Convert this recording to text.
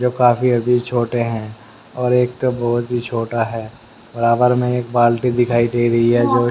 जो काफी अभी छोटे हैं और एक तो बहोत ही छोटा है बराबर मे एक बाल्टी दिखाई दे रही है जो --